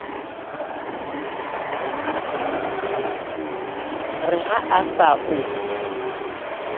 re ha a sa o